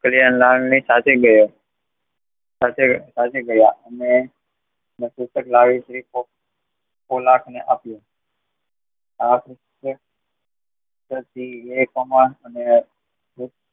કલ્યાણ લાલ ની સાથે ગયા અને પોપટલાલ જી કોઈકને આપ્યું